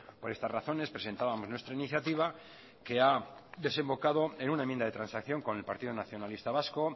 por estas razones presentábamos nuestra iniciativa que ha desembocado en una enmienda de transacción con el partido nacionalista vasco